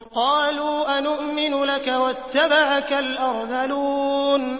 ۞ قَالُوا أَنُؤْمِنُ لَكَ وَاتَّبَعَكَ الْأَرْذَلُونَ